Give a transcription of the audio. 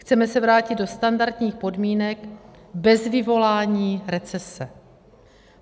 Chceme se vrátit do standardních podmínek bez vyvolání recese.